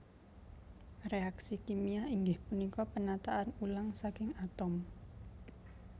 Reaksi kimia inggih punika penataan ulang saking atom